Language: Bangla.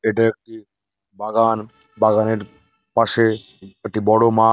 এটা উম বাগান বাগানের পাশে বড়ো মাঠ ।